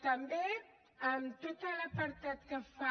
també en tot l’apartat que fa